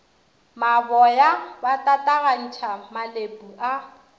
maboya ba tatagantšha malepu a